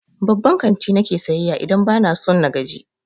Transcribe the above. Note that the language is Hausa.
Babban kanti na ke sayayya idan ba na son in gaji.